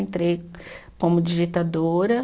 Entrei como digitadora.